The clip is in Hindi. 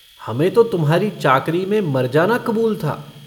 हमें तो तुम्हारी चाकरी में मर जाना कबूल था।